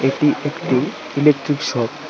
এটি একটি electric shop.